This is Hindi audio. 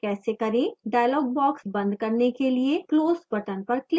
dialog box बंद करने के लिए close button पर click करें